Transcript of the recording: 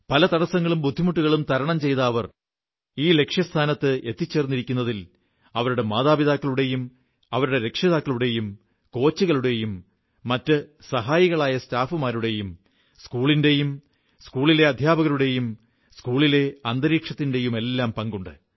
പല തടസ്സങ്ങളും ബുദ്ധിമുട്ടുകളും തരണം ചെയ്ത് അവർ ഇന്ന് ഈ ലക്ഷ്യസ്ഥാനത്ത് എത്തിച്ചേർന്നിരിക്കുന്നതിൽ അവരുടെ മാതാപിതാക്കളുടെയും അവരുടെ രക്ഷിതാക്കളുടേയും കോച്ചുകളുടെയും മറ്റു സഹായികളായ സ്റ്റാഫുകളുടെയും സ്കൂളിന്റെയും സ്കൂളിലെ അധ്യാപകരുടെയും സ്കൂളിന്റെ അന്തരീക്ഷത്തിന്റെയുമെല്ലാം പങ്കുണ്ട്